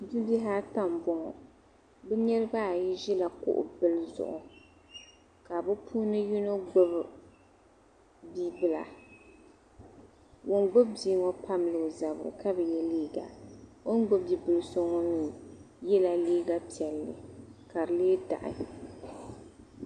Bi bihi ata n bɔŋɔ, bihi ŋɔ zaɣi yini ʒila kuɣu bɛni zuɣu ka o puuni yinɔ gbubi bi' bɛla ŋun gbubi biiŋɔ tabila ɔ jirili kabi ye liiga. ɔn gbubi bi' bibɛlisoŋɔ mi ye liiga piɛli ka di lee daɣi